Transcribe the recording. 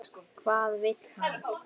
Hvað vill hann?